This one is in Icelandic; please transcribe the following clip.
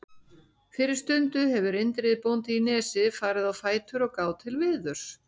Fyrir stundu hefur Indriði bóndi í Nesi farið á fætur og gáð til veðurs.